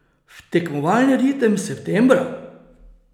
V tekmovalni ritem septembra?